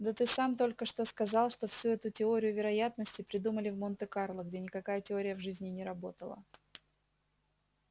да ты сам только что сказал что всю эту теорию вероятности придумали в монте-карло где никакая теория в жизни не работала